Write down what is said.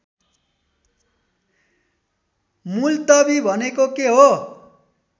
मुल्तवी भनेको के हो